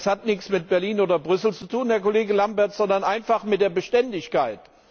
Das hat nichts mit Berlin oder Brüssel zu tun, Herr Kollege Lamberts, sondern einfach mit Beständigkeit.